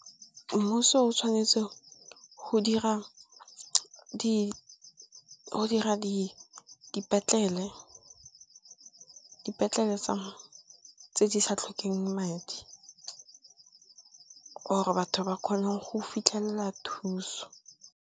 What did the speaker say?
Mmuso o tshwanetse go dira dipetlele tse di sa tlhokeng madi or batho ba kgone go fitlhelela thuso.